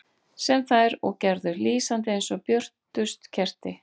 Sem þær og gerðu, lýsandi eins og björtust kerti.